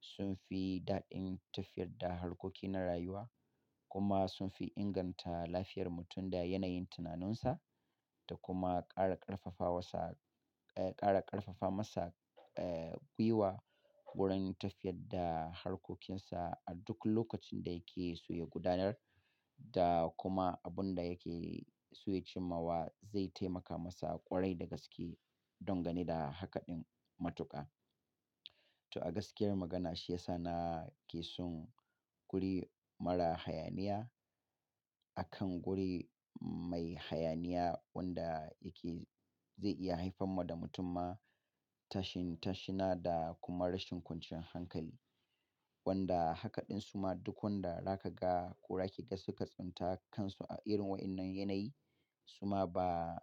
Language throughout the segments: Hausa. sun fi daɗin tafiyar da harkoki na rayuwa kuma sun fi inganta lafiyar mutum da yanayin tunaninsa da kuma ƙara ƙarfafa wasa, eh ƙara ƙarfafa masa gwiwa wurin tafiyar da harkokinsa a duk lokacin da yake so ya gudanar da kuma abun da yake so ya cimma wa zai taimaka masa ƙwarai da gaske don gani da haka ɗin matuƙa. To a gaskiyar magana shi ya sa na ke son guri mara hayaniya. Akan guri mai hayaniya wanda yake zai iya haifan wa da mutumma tashin tashina da kuma rashin kwanciyan hankali. Wanda haka ɗin suma duk wanda zaka ga ko zaki ga suka tsinta kansu a irin waɗannan yanayi suma ba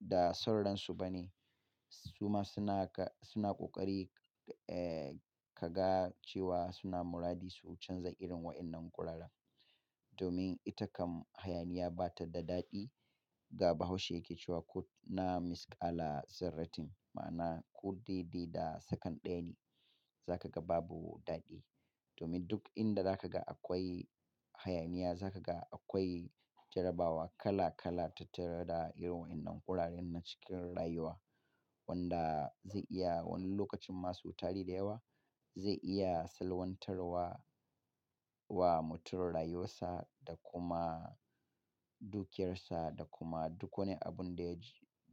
da sauransu ba ne. Suma suna suna ƙoƙari ka ga cewa suna muradi su canza irin waɗannan guraren. Domin ita kam hayaniya bata da ɗaɗi. Wanda Baubaushe ya ke cewa "na ko mis ƙala zarratin". Ma'ana ko dai dai da second ɗaya ne zaka ga babu ɗaɗi. Domin duk in da za ka ga akwai hayaniya, za ka ga akwai jarrabawa kala-kala tattare da irin waƴannan guraren na cikin rayuwa, wanda zai iya wani lokacin na sau tari da yawa, zai iya salwantarwa wa mutum rayuwarsa da kuma dukiyarsa da kuma duk wani abun da ya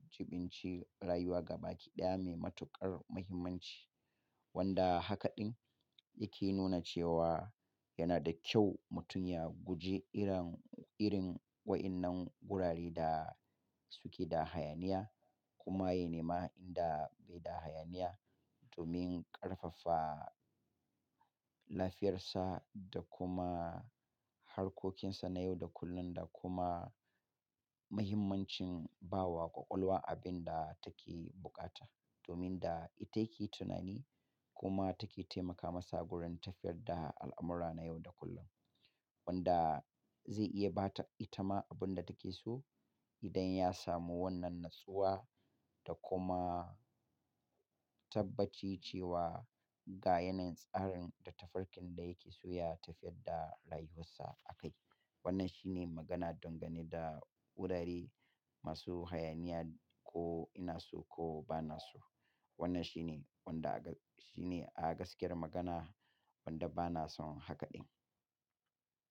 jiɓinci rayuwa gabaki ɗaya mai matuƙar mahimmanci. Wanda haka ɗin yake nuna cewa yana da kyau mutum ya guji irin, irin waɗannan gurare da suke da hayaniya kuma ya nema inda bai da hayaniya domin ƙarfafa lafiyarsa da kuma harkokinsa na yau da kullum da kuma mahimmancin bawa ƙwaƙwalwa abin da take buƙata. Domin da ita ya ke tunani kuma take taimaka masa gurin tafiyar da al'amura na yau da kullum. Wanda zai iya bata itama abun da take so idan ya samu wannan natsuwa da kuma tabbaci cewa ga yanayin tsarin da tafarkin da yake so ya tafiyar da rayuwarsa a kai. Wannan shi ne magana dangane da gurare masu hayaniya ko ina so ko ba na so. Wannan shi ne wanda aka-- shi ne a gaskiyar magana wanda bana son haka ɗin.